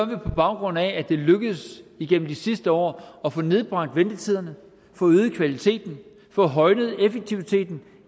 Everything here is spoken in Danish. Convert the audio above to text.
baggrund af at det er lykkedes igennem de sidste år at få nedbragt ventetiderne få øget kvaliteten få højnet effektiviteten